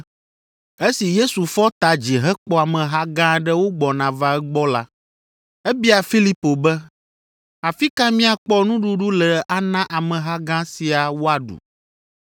Esi Yesu fɔ ta dzi hekpɔ ameha gã aɖe wogbɔna va egbɔ la, ebia Filipo be, “Afi ka míakpɔ nuɖuɖu le ana ameha gã sia woaɖu?”